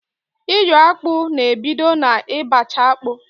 Iyo akpụ na ebido na ị bacha akpụ